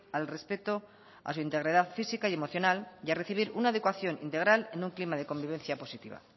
al respeto a su integridad física y emocional y a recibir una educación integral en un clima de convivencia positiva